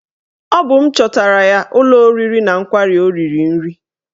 Ọ bụ m chọtara ya ụlọ oriri na nkwari o riri nri